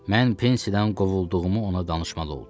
Mən pensiyadan qovulduğumu ona danışmalı oldum.